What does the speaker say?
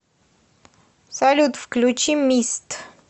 салют включи мист